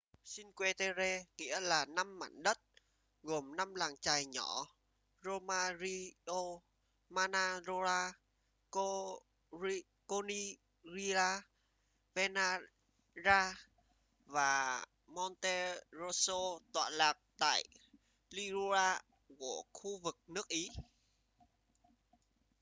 cinque terre nghĩa là năm mảnh đất gồm năm làng chài nhỏ riomaggiore manarola corniglia vernazza và monterosso tọa lạc tại liguria của khu vực nước ý